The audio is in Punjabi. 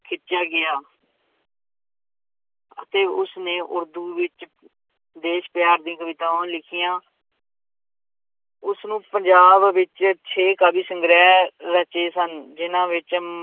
ਖਿੱਚਿਆ ਗਿਆ ਅਤੇ ਉਸਨੇ ਉਰਦੂ ਵਿੱਚ ਦੇਸ ਪਿਆਰ ਦੀਆਂ ਕਵਿਤਾਵਾਂ ਲਿਖੀਆਂ ਉਸਨੂੰ ਪੰਜਾਬ ਵਿੱਚ ਛੇ ਕਾਵਿ ਸੰਗ੍ਰਹਿ ਰਚੇ ਸਨ, ਜਿੰਨਾਂ ਵਿੱਚ